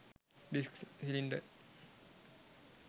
disk cylinder